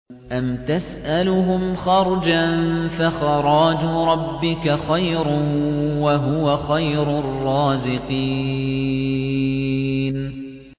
أَمْ تَسْأَلُهُمْ خَرْجًا فَخَرَاجُ رَبِّكَ خَيْرٌ ۖ وَهُوَ خَيْرُ الرَّازِقِينَ